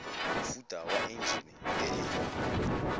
mofuta wa enjine e e